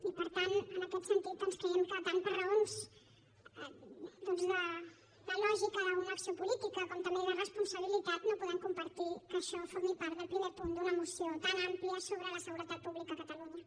i per tant en aquest sentit doncs creiem que tant per raons de lògica d’una acció política com també de responsabilitat no podem compartir que això formi part del primer punt d’una moció tan àmplia sobre la seguretat pública a catalunya